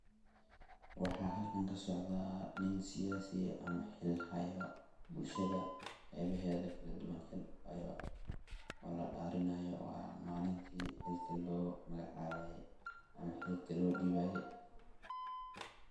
waxaa halkan ka socdaa nin siyasi ah ama xil haya bulshada qeebaheda kala duban oo la dhaarinayo waa malintii xilka loo magacabaye ama xilka loo dhibaye